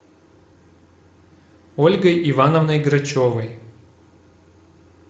ольгой ивановной грачевой